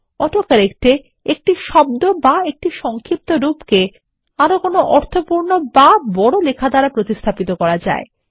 auto correct এ একটি শব্দ অথবা একটি সংক্ষিপ্তরূপকে আরো কোনো অর্থপূর্ণ বা বড় লেখা দ্বারা প্রতিস্থাপিত করা যায়